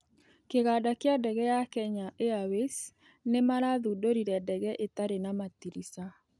kĩganda kĩa ndege ya Kenya Airways nĩ marathũndorĩre ndege ĩtarĩ na matĩrisha